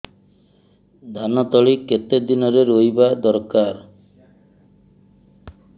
ଧାନ ତଳି କେତେ ଦିନରେ ରୋଈବା ଦରକାର